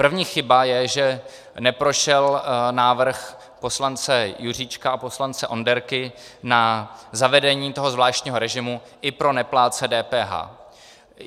První chyba je, že neprošel návrh poslance Juříčka a poslance Onderky na zavedení toho zvláštního režimu i pro neplátce DPH.